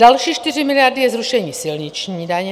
Další 4 miliardy je zrušení silniční daně.